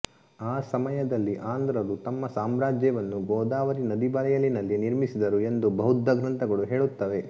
ಆ ಸಮಯದಲ್ಲಿ ಆಂಧ್ರರು ತಮ್ಮ ಸಾಮ್ರಾಜ್ಯವನ್ನು ಗೋದಾವರಿ ನದಿಬಯಲಿನಲ್ಲಿ ನಿರ್ಮಿಸಿದರು ಎಂದು ಬೌದ್ಧ ಗ್ರಂಥಗಳು ಹೇಳುತ್ತವೆ